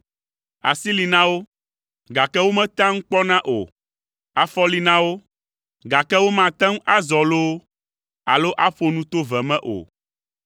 asi li na wo, gake wometea nu kpɔna o, afɔ li na wo, gake womate ŋu azɔ loo, alo aƒo nu to ve me o.